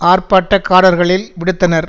ஆர்ப்பாட்டக்காரர்களில் விடுத்தனர்